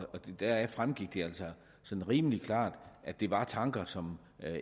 deraf fremgik det altså sådan rimelig klart at det var tanker som